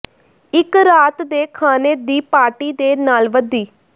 ਇੱਕ ਰਾਤ ਦੇ ਖਾਣੇ ਦੀ ਪਾਰਟੀ ਦੇ ਨਾਲ ਵਧੀ